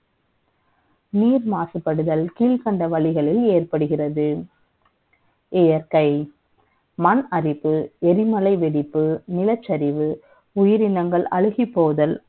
நீர் மாசுபடுதல் கீழ்க்கண்ட வழிகளில் ஏற்படுகிறது இயற்கை மண்ணரிப்பு எரிமலை வெடிப்பு நிலச்சரிவு உயிரினங்கள் அழுகிப்போதல்